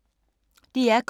DR K